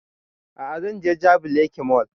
A'a zan je jabi lake mall